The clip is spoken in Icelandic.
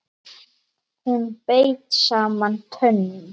Hún beit saman tönnum.